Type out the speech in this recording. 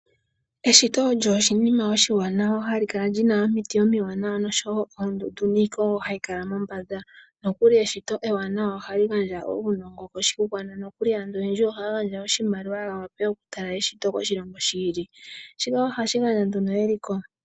Eshito olyo oshinima oshiwawa hali kala lyina omiti omiwanawa noshowo oondundu niikwawo hayi kala mombanda, nokuli eshito ewanawa ohali gandja uunongo koshigwana nokuli aantu oyendji ohaya gandja oshimaliwa yawape okutala eshito koshilongo shi ili, shika ohashi gandja nduno eliko.